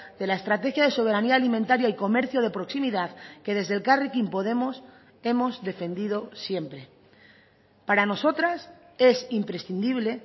de la estrategia de soberanía alimentaria y comercio de proximidad que desde elkarrekin podemos hemos defendido siempre para nosotras es imprescindible